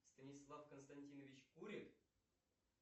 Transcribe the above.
станислав константинович курит